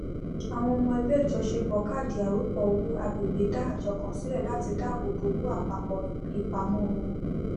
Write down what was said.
àwọn ọmọ ẹgbẹ ìjọṣepọ káàdì arọpò owó agbègbè dá àjọ kan sílẹ láti dáàbò bo owó àpapọ ìpamọ wọn